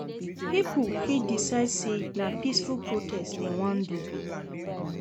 Pipo fit decide say na peaceful protest dem won do